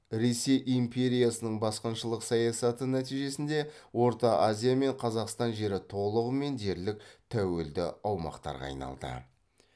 ресей империясының басқыншылық саясаты нәтижесінде орта азия мен қазақстан жері толығымен дерлік тәуелді аумақтарға айналды